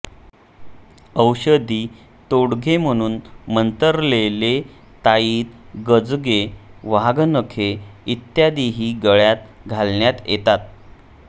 औषधी तोडगे म्हणून मंतरलेले ताईत गजगे वाघनखे इत्यादीही गळ्यात घालण्यात येतात